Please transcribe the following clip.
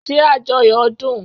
Ṣé ajoyo dun?